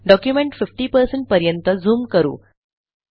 document 50 पर्यंत zoom करू